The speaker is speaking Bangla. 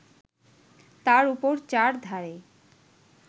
তার উপর চারধারে